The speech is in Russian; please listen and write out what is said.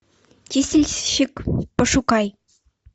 чистильщик пошукай